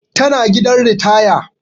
Tana gidan ritaya